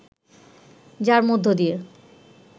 যার মধ্য দিয়ে